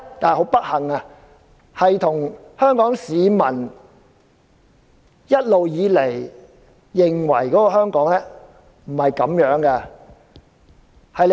很不幸，香港市民一直認為香港不是這樣的。